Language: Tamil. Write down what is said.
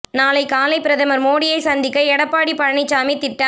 நாளை காலை பிரதமர் மோடியை சந்திக்க எடப்பாடி பழனிச்சாமி திட்டம்